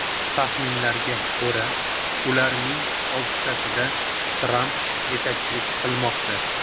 Taxminlarga ko‘ra, ularning oltitasida Tramp yetakchilik qilmoqda.